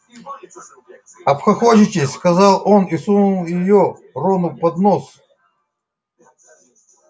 обхохочетесь сказал он и сунул её рону под нос